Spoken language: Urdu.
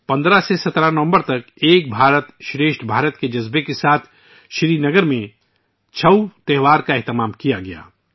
سری نگر میں 15 سے 17 نومبر تک 'ایک بھارت شریشٹھ بھارت' کے جذبے کے ساتھ 'چھاؤ' میلے کا انعقاد کیا گیا